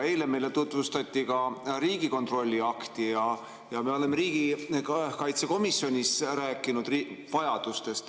Eile meile tutvustati Riigikontrolli akti ja me oleme riigikaitsekomisjonis rääkinud vajadustest.